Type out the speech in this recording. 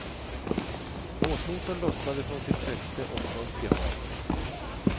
Båtmotorn lossnade från sitt fäste och sjönk i havet.